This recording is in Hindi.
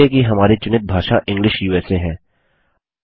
जाँचिये कि हमारी चुनित भाषा इंग्लिश उसा है